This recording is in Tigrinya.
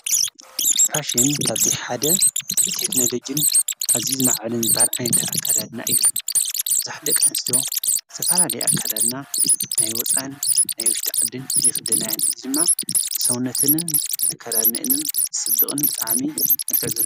ፋሽን ካብቲ ሓደ ብቴክለጅን ኣዚይ ዝመዕዓልን ዝባህል ኣይንተ ኣካዳድና እዩ ብዙኅ ደቂአንስትዮ ተፋላለይ ኣካዳድና ናይ ወፃን ናይ ወሽት ዕድን ይኽደናይን ድማ ሰውነትንን ኣካዳድኒእንን ስብቕን ብጥዓሜ መልከል ዘሎ፡፡